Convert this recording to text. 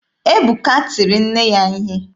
Ebuka tiri nne ya ihe.